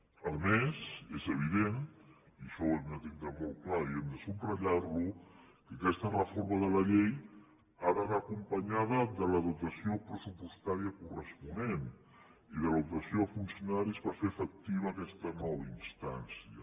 a més és evident i això ho hem de tindre molt clar i ho hem de subratllar que aquesta reforma de la llei ha d’anar acompanyada de la dotació pressupostària corresponent i de la dotació de funcionaris per fer efectiva aquesta nova instància